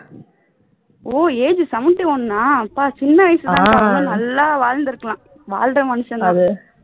ஓ age seventy one ஆ அப்பா சின்ன வயசுதாங்க்கா ரொம்ப நல்லா வாழ்ந்திருக்கலாம் வாழ்ற மனுஷன் தான்